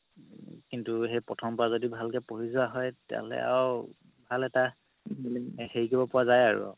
কিন্তু সেই প্ৰথম পা যদি ভালকে পঢ়ি যোৱা হয় তেতিয়া হ'লে আৰু ভাল এটা হেৰি কৰিব পাৰা যাই আৰু